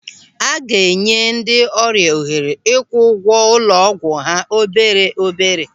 A ga-enye ndị ọrịa ohere ịkwụ ụgwọ ụlọ ọgwụ ha obere obere.